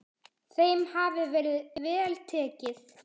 Þeim hafi verið vel tekið.